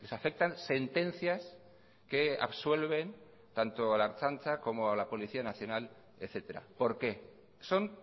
afectan sentencias que absuelven tanto a la ertzaintza como a la policía nacional etcétera por qué son